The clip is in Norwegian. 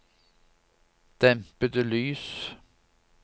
dempede lys